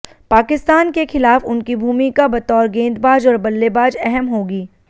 पाकिस्तान के खिलाफ उनकी भूमिका बतौर गेंदबाज और बल्लेबाज अहम होगी